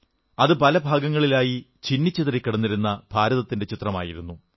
അത് പല ഭാഗങ്ങളായി ചിന്നിച്ചിതറിക്കിടന്നിരുന്ന ഭാരതത്തിന്റെ ചിത്രമായിരുന്നു